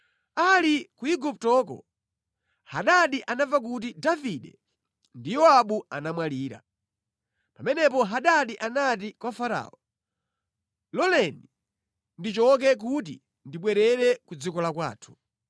Ali ku Iguptoko, Hadadi anamva kuti Davide ndi Yowabu anamwalira. Pamenepo Hadadi anati kwa Farao, “Loleni ndichoke kuti ndibwerere ku dziko la kwathu.”